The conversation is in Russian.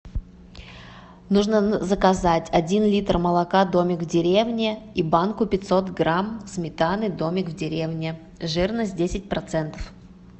нужно заказать один литр молока домик в деревне и банку пятьсот грамм сметаны домик в деревне жирность десять процентов